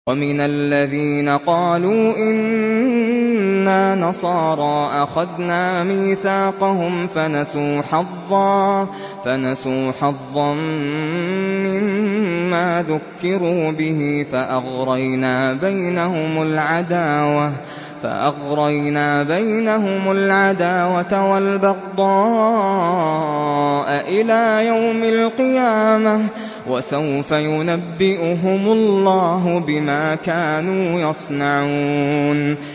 وَمِنَ الَّذِينَ قَالُوا إِنَّا نَصَارَىٰ أَخَذْنَا مِيثَاقَهُمْ فَنَسُوا حَظًّا مِّمَّا ذُكِّرُوا بِهِ فَأَغْرَيْنَا بَيْنَهُمُ الْعَدَاوَةَ وَالْبَغْضَاءَ إِلَىٰ يَوْمِ الْقِيَامَةِ ۚ وَسَوْفَ يُنَبِّئُهُمُ اللَّهُ بِمَا كَانُوا يَصْنَعُونَ